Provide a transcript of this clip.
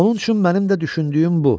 Onun üçün mənim də düşündüyüm bu.